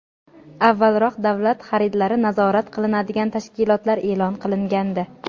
avvalroq davlat xaridlari nazorat qilinadigan tashkilotlar e’lon qilingandi.